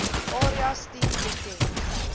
area studie bekend